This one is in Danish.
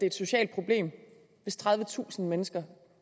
et socialt problem hvis tredivetusind mennesker